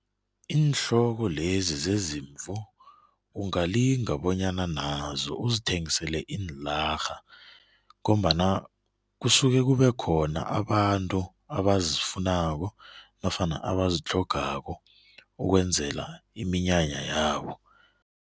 Iinhloko lezi zezimvu ungalinga bonyana nazo uzithengisele iinlarha ngombana kusuke kube khona abantu abazifunako nofana abazitlhogako ukwenzela iminyanya yabo.